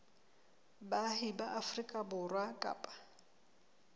baahi ba afrika borwa kapa